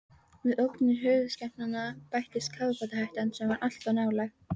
Við ógnir höfuðskepnanna bættist kafbátahættan, sem var alltaf nálæg.